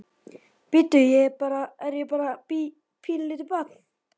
Bíddu, er ég bara, er ég bara bí, pínulítið barn?